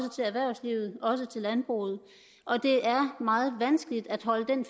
også til landbruget og det er meget vanskeligt at holde den